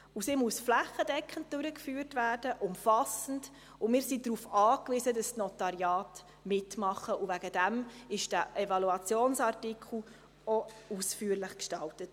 Auch muss sie flächendeckend durchgeführt werden, umfassend, und wir sind darauf angewiesen, dass die Notariate mitmachen, und deswegen wurde dieser Evaluationsartikel auch ausführlich gestaltet.